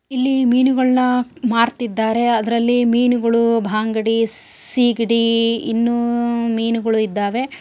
ಇಲ್ಲಿ ಮೀನುಗಳನ್ನ ಮಾರುತ್ತಾ ಇದ್ದಾರೆ ಅದರಲ್ಲಿ ಮೀನುಗಳು ಬಾಂಗಡಿ ಸಿಗಡಿ ಇನ್ನು ಮೀನುಗಳು ಇದ್ದಾವೆ.